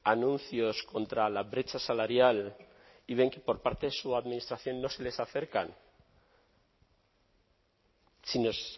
anuncios contra la brecha salarial y ven que por parte de su administración no se les acercan si nos